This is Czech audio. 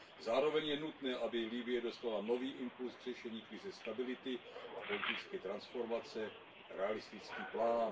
Zároveň je nutné, aby Libye dostala nový impuls k řešení krize stability a politické transformace, realistický plán.